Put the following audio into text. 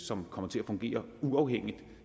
som kommer til at fungere uafhængigt